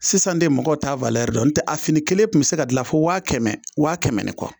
Sisan de mɔgɔw t'a dɔn nɔtɛ a fini kelen kun bi se ka gilan fo waa kɛmɛ waa kɛmɛ ni kɔ.